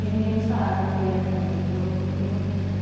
Os meninos fazem, eles entram nesse jogo e eu